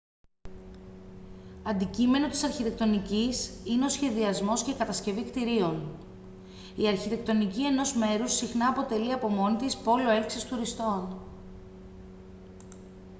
αντικείμενο της αρχιτεκτονικής είναι ο σχεδιασμός και η κατασκευή κτιρίων η αρχιτεκτονική ενός μέρους συχνά αποτελεί από μόνη της πόλο έλξης τουριστών